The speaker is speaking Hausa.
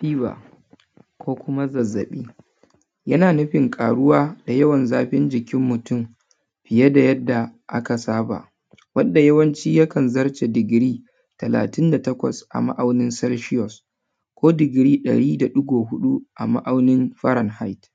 Fever ko kuma zazzaɓi yana nufin ƙaruwa da yawan zafin jikin mutum fiye da yadda aka saba wanda yawanci yakan zarce digiri talatin da takwas a ma’aunin celsius ko digiri ɗari da ɗigo huɗu a ma’aunin fahrenheit.